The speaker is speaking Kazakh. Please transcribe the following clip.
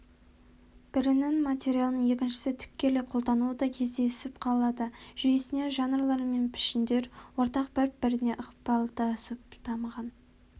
бірінің материалын екіншісі тікелей қолдануы да кездесіп қалады жүйесіне жанрлар мен пішіндер ортақ бір-біріне ықпалдасып дамыған